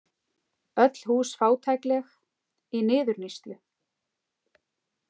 Öll hús fátækleg, í niðurníðslu.